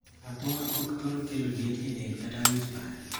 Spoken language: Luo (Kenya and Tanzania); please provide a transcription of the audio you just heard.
Athung'a ok thor kelo liet e del kata which bar.